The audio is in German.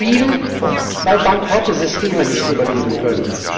Die Mauer fiel, weil bankrotte Systeme nicht überleben können.